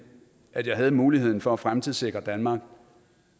at jeg havde muligheden for at fremtidssikre danmark